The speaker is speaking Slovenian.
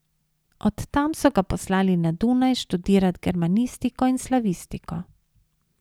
Od tam so ga poslali na Dunaj študirat germanistiko in slavistiko.